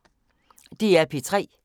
DR P3